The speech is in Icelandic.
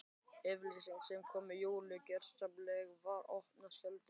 Yfirlýsing sem kom Júlíu gjörsamlega í opna skjöldu.